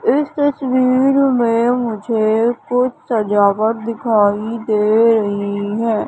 इस तस्वीर में मुझे कुछ सजावट दिखाई दे रही है।